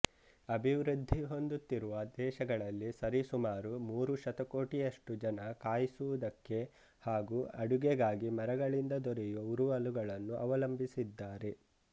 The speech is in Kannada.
ಅಭಿವೃದ್ದಿ ಹೊಂದುತ್ತಿರುವ ದೇಶಗಳಲ್ಲಿ ಸರಿಸುಮಾರು ಮೂರು ಶತಕೋಟಿಯಷ್ಟು ಜನ ಕಾಯಿಸುವುದಕ್ಕೆ ಹಾಗೂ ಅಡುಗೆಗಾಗಿ ಮರಗಳಿಂದ ದೊರೆಯುವ ಉರುವಲುಗಳನ್ನು ಅವಲಂಬಿಸಿದ್ದಾರೆ